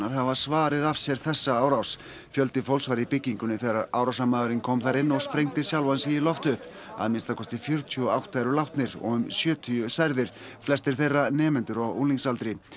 hafa svarið af sér þessa árás fjöldi fólks var í byggingunni þegar árásarmaðurinn kom þar inn og sprengdi sjálfan sig í loft upp að minnsta kosti fjörutíu og átta eru látnir og um sjötíu særðir flestir þeirra nemendur á unglingsaldri